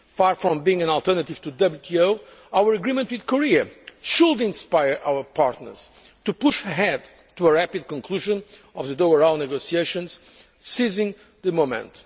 Far from being an alternative to the WTO, our agreement with Korea should inspire our partners to push ahead to a rapid conclusion of the Doha Round negotiations by seizing the moment.